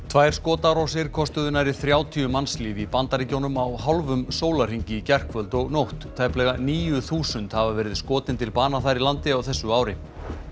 tvær skotárásir kostuðu nærri þrjátíu mannslíf í Bandaríkjunum á hálfum sólarhring í gærkvöld og nótt tæplega níu þúsund hafa verið skotin til bana þar í landi á þessu ári